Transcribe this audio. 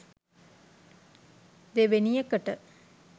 දෙවෙනි එකට